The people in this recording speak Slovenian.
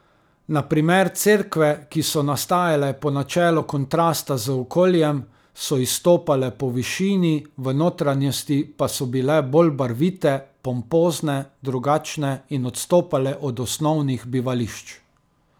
Na primer cerkve, ki so nastajale po načelu kontrasta z okoljem, so izstopale po višini, v notranjosti pa so bile bolj barvite, pompozne, drugačne in odstopale od osnovnih bivališč.